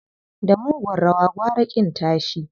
Da mugun rawa gwara ƙin tashi.